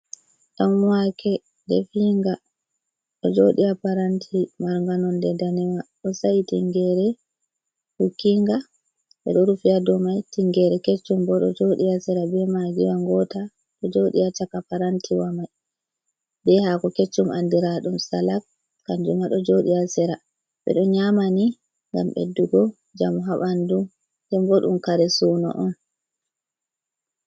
Ɗanwaake defiinga ɗo joodi haa paranti marnga nonde danewa on, sai tinngeere hukkiinga ɓe ɗo rufi ha dow mai tingeere keccum bo ɗo jooɗi sera bee maagi wa ngoota do jooɗi ha caka, parantiwa mai bee hako keccum andiraaɗum salak kanjum ma do joodi haa sera, ɓe ɗo nyaama ni ngam ɓeddugo jamu haa bandu, ndembo ɗum kare suuno on.